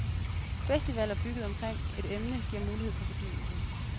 Festivaler bygget omkring et emne giver mulighed for fordybelse.